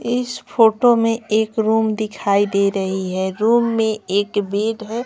इस फोटो में एक रूम दिखाई दे रही है रूम में एक बेड है।